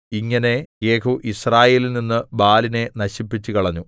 ഇങ്ങനെ യേഹൂ യിസ്രായേലിൽനിന്ന് ബാലിനെ നശിപ്പിച്ചുകളഞ്ഞു